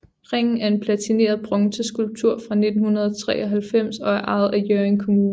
Ringen er en platineret bronzeskulptur fra 1993 og er ejet af Hjørring Kommune